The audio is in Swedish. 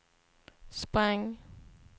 sprang